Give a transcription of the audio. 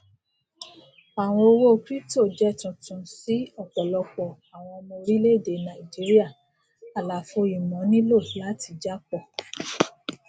àwọn owó crypto jẹ tuntun si ọpọlọpọ àwọn ọmọ orílẹèdè nàìjíría àlàfo ìmọ nílò láti jápọ